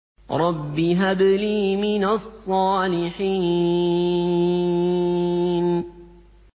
رَبِّ هَبْ لِي مِنَ الصَّالِحِينَ